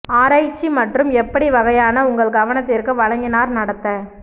ஆராய்ச்சி மற்றும் எப்படி வகையான உங்கள் கவனத்திற்கு வழங்கினார் நடத்த